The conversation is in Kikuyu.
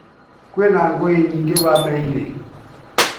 Kwĩna ng'ũĩ nyingĩ bamĩrĩ-inĩ